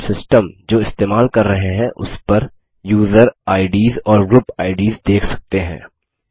अब हम सिस्टम जो इस्तेमाल कर रहे हैं उस पर यूजर आईडीएस और ग्रुप आईडीएस देख सकते हैं